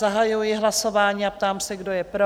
zahajuji hlasování a ptám se, kdo je pro?